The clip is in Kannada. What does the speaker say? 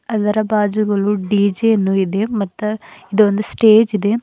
ಅದರ ಬಾಜುಗಳು ಡಿ_ಜೆ ಯನ್ನು ಇದೆ ಮತ್ತ ಇದು ಒಂದು ಸ್ಟೇಜ್ ಇದೆ.